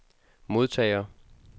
modtager